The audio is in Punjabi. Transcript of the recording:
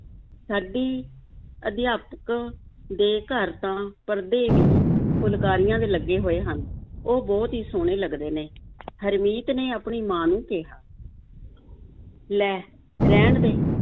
ਸਾਡੀ ਅਧਿਆਪਕ ਦੇ ਘਰ ਤਾਂ ਪਰਦੇ ਵੀ ਫੁਲਕਾਰੀਆਂ ਦੇ ਲੱਗੇ ਹੋਏ ਹਨ, ਉਹ ਬਹੁਤ ਹੀ ਸੋਹਣੇ ਲੱਗਦੇ ਨੇ ਹਰਮੀਤ ਨੇ ਆਪਣੀ ਮਾਂ ਨੂੰ ਕਿਹਾ ਲੈ, ਰਹਿਣ ਦੇ,